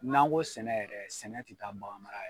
N'an ko sɛnɛ yɛrɛ sɛnɛ ti taa baganmara